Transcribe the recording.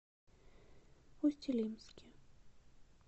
усть илимске